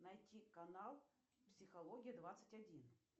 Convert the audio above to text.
найти канал психология двадцать один